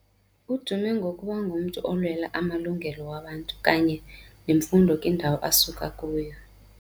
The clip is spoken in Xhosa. Uduma ngokuba ngumntu olwela amalungelo wabantu kanye nemfundo kwindawo asuka kuyo